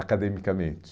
Academicamente.